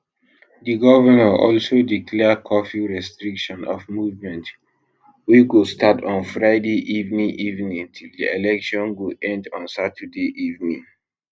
di govnor also declare curfew restriction of movement wey go start on friday evening evening till di election go end on saturday evening